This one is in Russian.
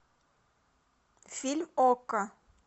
фильм окко